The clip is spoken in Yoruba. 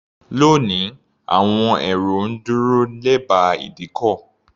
Lónìí, àwọn èrò ń dúró lẹ́bàá ìdíkọ̀.